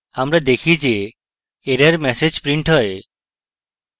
আমরা দেখি যে error ম্যাসেজ printed হয়